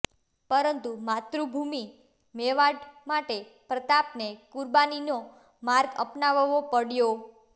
પરંતુ માતૃભૂમી મેવાડ માટે પ્રતાપને કુરબાનીનો માર્ગ અપનાવવો પડ્યો